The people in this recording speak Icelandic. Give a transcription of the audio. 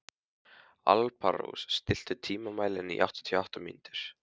Alparós, stilltu tímamælinn á áttatíu og átta mínútur.